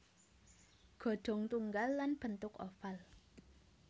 Ghodong tunggal lan bentuk oval